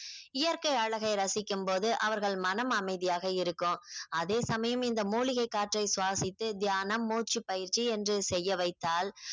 இயற்கை அழகை ரசிக்கும் போது அவர்கள் மனம் அமைதியாக இருக்கும் அதே சமயம் இந்த மூலிகை காற்றை சுவாசித்து தியானம் மூச்சுப் பயிற்சி என்று செய்ய வைத்தால்